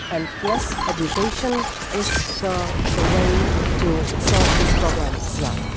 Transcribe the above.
And, yes, education is the way to solve this problem as well.